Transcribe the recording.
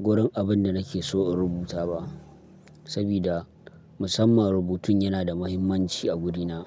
wurin abin da nake so in rubuta ba sabida musamman rubutun yana da mahimmanci a gurina.